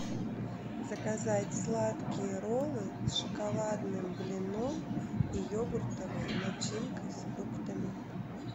заказать сладкие роллы с шоколадным блином и йогуртовой начинкой с фруктами